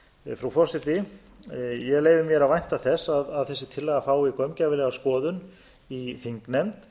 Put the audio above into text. frú forseti ég leyfi mér að vænta þess að þessi tillaga fái gaumgæfilega skoðun í þingnefnd